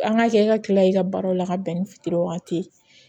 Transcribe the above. An ka kɛ i ka kila i ka baaraw la ka bɛn ni waati ye